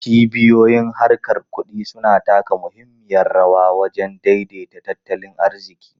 Cibiyoyin harkar kudi suna taka muhimmiyar rawa wajen daidaita tattalin arziki.